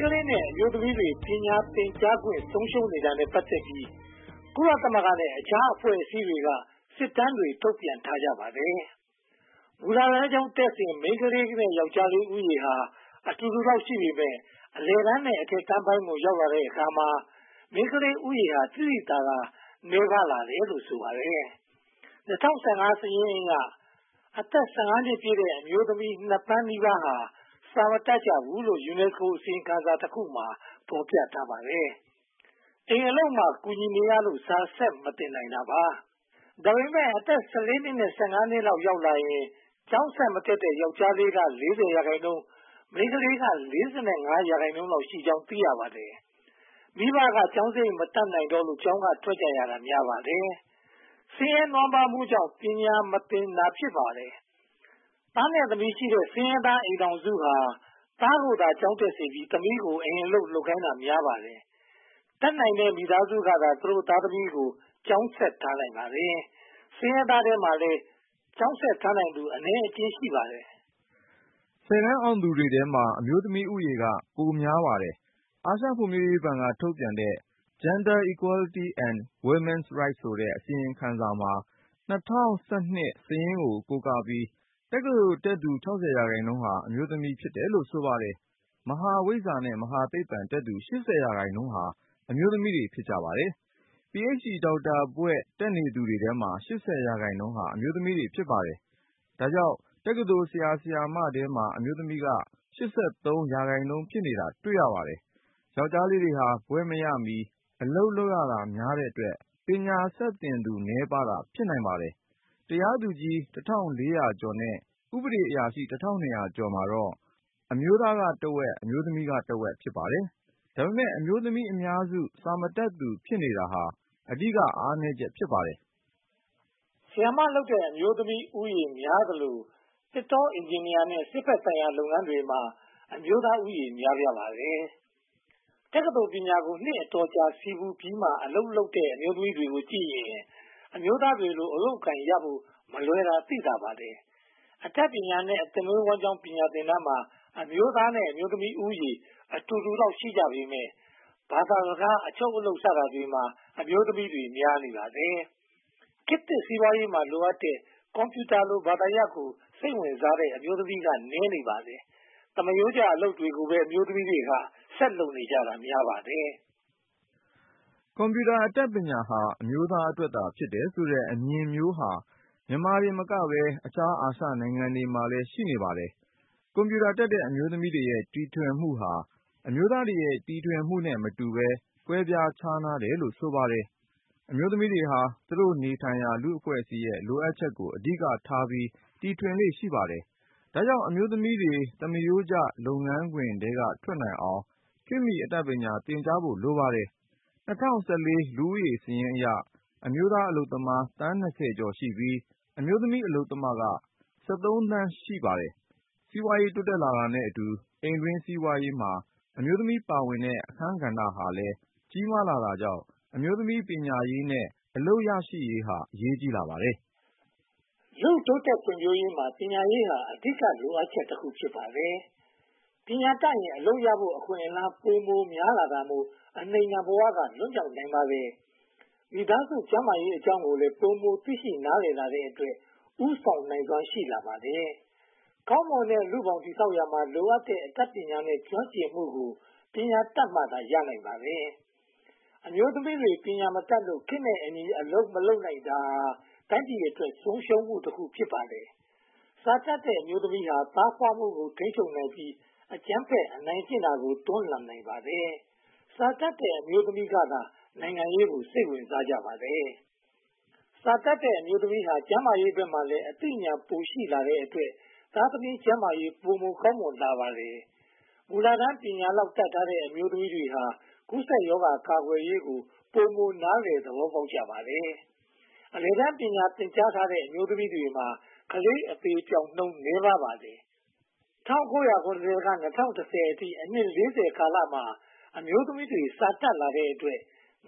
ကလေးတွေ နဲ့ အမျိုးသမီးတွေ ပညာသင်ကြားခွင့် ဆုံးရှုံးနေတာနဲ့ ပတ်သက်ပြီး ကုလသမဂ္ဂနဲ့ အခြားအဖွဲ့အစည်းအမျိုးမျိုးက စစ်တမ်းတွေ ထုတ်ပြန်ထားကြပါတယ်။ မူလတန်းကျောင်းတက်စဉ်က မိန်းကလေးနဲ့ ယောကျ်ားလေးဦးရေဟာ အတူတူလောက် ရှိပေမယ့် အလယ်တန်းနဲ့ အထက်တန်းပိုင်းကို ရောက်ရှိလာတဲ့အခါမှာ မိန်းကလေးဦးရေဟာ သိသိသာသာ နည်းပါးလာတယ်လို့ ဆိုပါတယ်။ ၂၀၁၅ စာရင်းအရ အသက် (၁၅) နှစ်ပြည့်တဲ့ အမျိုးသမီး (၂) သန်းနီးပါးဟာ စာမတတ်ကြဘူးလို့ UNESCO အစီရင်ခံစာတခုမှာ ဖော်ပြထားပါတယ်။ အိမ်အလုပ်မှာ ကူညီနေရလို့ စာဆက်မသင်နိုင်တော့တာ ဖြစ်ပါတယ်။ ဒါပေမဲ့ အသက် (၁၄) နှစ် နဲ့ (၁၅) နှစ်လောက် ရောက်လာရင် ကျောင်းဆက်မတက်တော့တဲ့ ယောကျ်ားလေးတွေက (၄၀) ရာခိုင်နှုန်း၊ မိန်းကလေးက (၄၅) ရာခိုင်နှုန်းလောက်ရှိကြောင်း သိရပါတယ်။ မိဘကျောင်းစရိတ် မတတ်နိုင်တော့လို့ ကျောင်းကထွက်ကြရတာ များပါတယ်။ ဆင်းရဲနွမ်းပါးမှုကြောင့် ပညာမသင်နိုင်ကြတာ ဖြစ်ပါတယ်။ သားနဲ့သမီးရှိတဲ့ ဆင်းရဲသားအိမ်ထောင်စုဟာ သားကိုသာ ကျောင်းတက်စေချင်ပြီး သမီးဖြစ်သူကို အိမ်အလုပ်လုပ်ခိုင်းတာ များပါတယ်။ တက်နိုင်တဲ့မိသားစုကသာ သူတို့သားသမီးကို ကျောင်းဆက်ထားနိုင်ပါတယ်။ ဆင်းရဲသားထဲမှာလည်း ကျောင်းဆက်ထားနိုင်သူ အနည်းအကျဉ်း ရှိပါတယ်။ ဆယ်တန်းအောင်သူတွေထဲမှာ အမျိုးသမီးဦးရေက ပိုများနေပါတယ်။ အာရှဖွံ့ဖြိုးရေးဘဏ်က ထုတ်ပြန်တဲ့ Gender Quality and Women Rights ဆိုတဲ့ အစီရင်ခံစာမှာ ၂၀၁၂ စာရင်းကို ကိုးကားပြီး တက္ကသိုလ်တက်သူ (၆၀) ရာခိုင်နှုန်းဟာ အမျိုးသမီးတွေ ဖြစ်တယ်လို့ ဆိုပါတယ်။ မဟာဝိဇ္ဖာနဲ့ မဟာသိပ္ပံ တက်ရောက်သူ (၈၀) ရာခိုင်နှုန်းဟာ အမျိုးသမီးတွေ ဖြစ်ပါတယ်။ Ph.D ဒေါက်တာဘွဲ့ တက်နေသူတွေထဲမှာလည်း (၈၀) ရာခိုင်နှုန်းဟာ အမျိုးသမီးတွေ ဖြစ်ပါတယ်။ ဒါကြောင့် တက္ကသိုလ် ဆရာ၊ ဆရာမတွေထဲမှာ အမျိုးသမီးက (၈၃) ရာခိုင်နှုန်း ဖြစ်နေတာ တွေ့ရပါတယ်။ ယောကျ်ားတွေဟာ ဘွဲ့မရမီ အလုပ်လုပ်တာများတဲ့အတွက် ပညာဆက်သင်သူ နည်းပါးတာ ဖြစ်နိုင်ပါတယ်။ တရားသူကြီး (၁၄၀၀) ကျော်နဲ့ ဥပဒေအရာရှိ (၁၂၀၀) ကျော်မှာတော့ အမျိုးသားကတဝက်၊ အမျိုးသမီးကတဝက် ဖြစ်ပါတယ်။ ဒါပေမဲ့ အမျိုးသမီးအများစု စာမတတ်သူဖြစ်နေတာ အဓိကအားနည်းချက် ဖြစ်ပါတယ်။ ဆရာမလုပ်တဲ့ အမျိုးသမီးဦးရေများသလို သစ်တော၊ အင်ဂျင်နီယာနဲ့ စစ်ဘက်ဆိုင်ရာ လုပ်ငန်းတွေမှာတော့ အမျိုးသားဦးရေ များပြားပါတယ်။ တက္ကသိုလ်ပညာရေးကို နှစ်အတော်ကြာဆည်းပူးပြီးမှ အလုပ်ရတဲ့ အမျိုးသမီးတွေကိုကြည့်ရင် အမျိုးသားတွေလို အလုပ်အကိုင်ရဖို့ မလွယ်ကူတာ သိသာပါတယ်။ အတတ်ပညာနဲ့ အသက်မွေးဝမ်းကျောင်းပညာသင်တန်းမှာ အမျိုးသားနဲ့ အမျိုးသမီးဦးရေ အတူတူလောက် ရှိကြပေမယ့် ဘာသာစကား၊ အချုပ်အလုပ်စတာတွေမှာ အမျိုးသမီးတွေ များနေပါတယ်။ ခေတ်သစ်စီးပွားရေးမှာ လိုအပ်တဲ့ ကွန်ပြူတာလို ဘာသာရပ်ကို စိတ်ဝင်စားတဲ့ အမျိုးသမီးတွေက နည်းနေပါတယ်။ သမားရိုးကျ အလုပ်တွေကိုပဲ အမျိုးသမီးတွေက ဆက်လုပ်နေကြတာများပါတယ်။ ကွန်ပြူတာအတတ်ပညာဟာ အမျိုးသားအတွက်သာ ဖြစ်တဲ့ဆိုတဲ့အမြင်မျိုးဟာ မြန်မာတင်မကဘဲ အခြားအာရှနိုင်ငံတွေမှာလည်း ရှိနေပါတယ်။ ကွန်ပြူတာတတ်တဲ့ အမျိုးသမီးတွေရဲ့ တီထွင်မှုဟာ အမျိုးသားတွေရဲ့ တီထွင်မှုနဲ့မတူဘဲ ကွဲပြားခြားနားတယ်လို့ ဆိုပါတယ်။ အမျိုးသမီးတွေဟာ သူတို့နေထိုင်ရာ လူ့အဖွဲ့အစည်းရဲ့ လိုအပ်ချက်တွေကို အဓိကထားပြီး တီထွင်လေ့ရှိပါတယ်။ ဒါကြောင့် အမျိုးသမီးတွေ သမားရိုးကျ လုပ်ငန်းခွင်ထဲက ထွက်နိုင်အောင် ခေတ်မီအတတ်ပညာ သင်ကြားကြဖို့ လိုပါတယ်။ ၂၀၁၄ လူဦးရေးစာရင်းအရ အမျိုးသားအလုပ်သမား သန်း (၂၀) ကျော်ရှိပြီး အမျိုးသမီးအလုပ်သမားက (၁၃) သန်း ရှိပါတယ်။ စီးပွားရေးတိုးတက်လာတာနဲ့အတူ အိမ်တွင်းစီးပွားရေးမှာ အမျိုးသမီးပါဝင်တဲ့ အခန်းကဏ္ဍဟာလည်း ကြီးမားလာတာကြောင့် အမျိုးသမီးပညာရေးနဲ့ အလုပ်ရရှိရေးဟာ အရေးကြီးလာပါတယ်။ လူ့ဘဝ တိုးတက်ဖွံ့ဖြိုးရေးမှာ ပညာရေးဟာ အဓိကလိုအပ်ချက်တခု ဖြစ်ပါတယ်။ ပညာတတ်ရင် အလုပ်ရဖို့ အခွင့်အလမ်း ပိုများလာတာမို့ အနှိမ့်ခံဘဝက လွတ်မြောက်နိုင်ပါတယ်။ မိသားစုကျန်းမာရေးအကြောင်းကိုလည်း ပိုမိုသိရှိနားလည်လာတဲ့အတွက် ဦးဆောင်နိုင်စွမ်း ရှိလာပါတယ်။ ကောင်းမွန်တဲ့ လူ့ဘောင်တည်ဆောက်ရာမှာ လိုအပ်တဲ့အတတ်ပညာနဲ့ ကျွမ်းကျင်မှုကို ပညာတတ်မှသာ ရနိုင်ပါတယ်။ အမျိုးသမီးတွေ ပညာမတတ်လို့ ခေတ်နဲ့အညီ အလုပ်မလုပ်နိုင်တာဟာ တိုင်းပြည်အတွက် ဆုံးရှုံးမှုတခု ဖြစ်ပါတယ်။ စာမတတ်တဲ့ အမျိုးသမီးဟာ သားဖွားမှုကို ထိန်းချုပ်နိုင်ပြီး အကြမ်းဖက်အနိုင်ကျင့်တာကို တွန်းလှန်နိုင်ပါတယ်။ စာတတ်တဲ့ အမျိုးသမီးကသာ နိုင်ငံရေးကို စိတ်ဝင်စားကြပါတယ်။ စာတတ်တဲ့အမျိုးသမီးဟာ ကျန်းမာရေးဘက်မှာလည်း အသိဉာဏ်ပိုရှိလာတဲ့အတွက် သားသမီး ကျန်းမာရေးကောင်းမွန်လာပါတယ်။ မူလတန်း ပညာလောက်သာတတ်ထားတဲ့ အမျိုးသမီးတွေဟာ ကူးစက်ရောဂါကာကွယ်ရေးကို ပိုမိုနားလည်သဘောပေါက်ကြပါတယ်။ အလယ်တန်းပညာ သင်ကြားထားတဲ့ အမျိုးသမီးတွေမှာ ကလေးအသေအပျောက်နှုန်း နည်းပါကြပါတယ်။ ၁၉၇၀ ကနေ ၂၀၁၀ အထိ အနှစ် (၄၀) ကာလမှာ အမျိုးသမီးတွေ ပိုစာတတ်လာတဲ့အတွက်